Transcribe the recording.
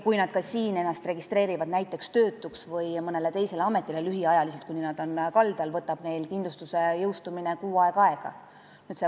Kui nad siin ennast näiteks töötuks registreerivad või mõnele teisele ametikohale liiguvad lühiajaliselt, kuni nad kaldal on, võtab neil kindlustuse jõustumine kuu aega aega.